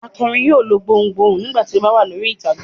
Akọrin yóò lo gbohùn gbohùn nígbà tí ó bá wà lórí ìtàgé.